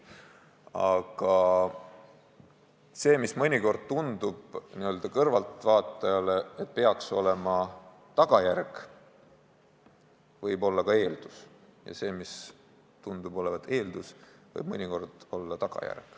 Aga see, mis mõnikord tundub kõrvaltvaatajale tagajärjena, võib olla ka eeldus ja see, mis tundub olevat eeldus, võib mõnikord olla tagajärg.